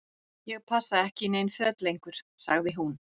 Ég passa ekki í nein föt lengur sagði hún.